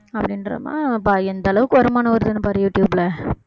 அப்படின்ற மா~ பாரு எந்த அளவுக்கு வருமானம் வருதுன்னு பாரு யூடுயூப்ல